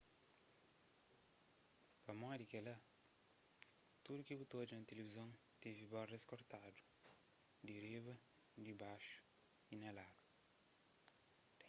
pamodi kela tudu ki bu ta odja na tilivizon tevi bordas kortadu di riba dibaxu y na ladu